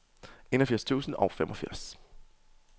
enogfirs tusind og femogfirs